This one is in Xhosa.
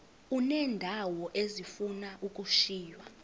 uneendawo ezifuna ukushiywa